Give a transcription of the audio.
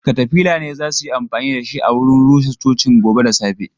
katafila ne za su yi amfani da shi a wurin rusa cocin gobe da safe.